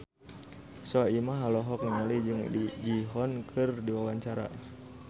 Soimah olohok ningali Jung Ji Hoon keur diwawancara